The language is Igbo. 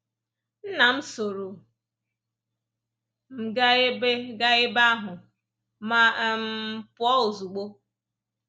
Nna m sooro m gaa ebe gaa ebe ahụ ma um pụọ ozugbo.